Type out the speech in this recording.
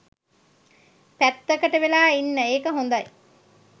පැත්තකට වෙලා ඉන්න එක හොඳයි.